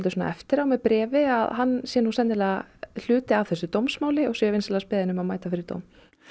eftir á með bréfi að hann sé sennilega hluti af þessu dómsmáli og sé vinsamlegast beðinn um að mæta fyrir dóm